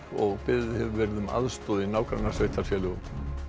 og beðið hefur verið um aðstoð í nágrannasveitarfélögum